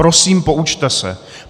Prosím poučte se.